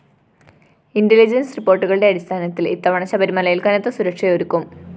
intelligence റിപ്പോര്‍ട്ടുകളുടെ അടിസ്ഥാനത്തില്‍ ഇത്തവണ ശബരിമലയില്‍ കനത്ത സുരക്ഷയൊരുക്കും